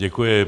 Děkuji.